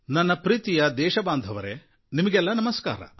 ನನ್ನ ಪ್ರೀತಿಯ ದೇಶಬಾಂಧವರೇ ನಿಮಗೆಲ್ಲ ನಮಸ್ಕಾರ